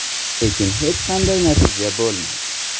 Lekin hech qanday natija bo‘lmadi.